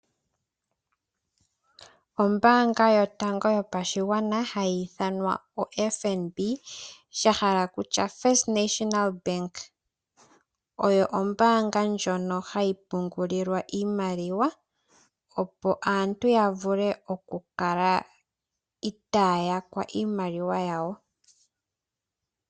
Oombaanga yotango yopashigwana hayi ithanwa oFNB sha hala kutya First National Bank oyo ombaanga ndjono hayi pungulilwa iimaliwa opo aantu ya vule okukala itaya yakwa iimaliwa yawo.